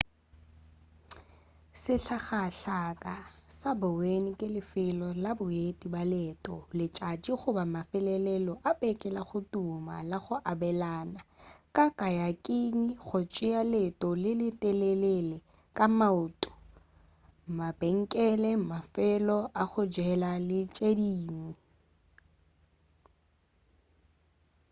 sehlakahlaka sa bowen ke lefelo la boeti ba leeto la letšatši goba mafelelo a beke lago tuma la go abelana ka kayaking go tšea leeto le le telele ka maoto mabenkele mafelo a go jela le tše dingwe